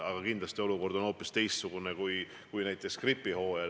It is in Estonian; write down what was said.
Aga kindlasti olukord on hoopis teistsugune kui näiteks gripihooajal.